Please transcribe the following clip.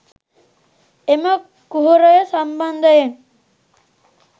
එම කුහරය සම්බන්ධයෙන්